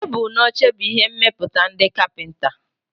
Tebụl na oche bụ ihe mmepụta ndị kapịnta.